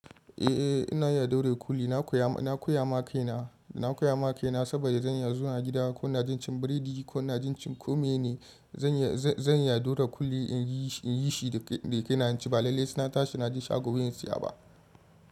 Eh, ina iya daure kuli. Nakoya na koyawa kaina na koya ma kaina saboda zan iya zuwa gida ko na jin cin burodi ko na jin cin kome ne. Zan iya daure kuli in yi shi da kaina ci, amma lallai saina tashi na je shago zan siya ba.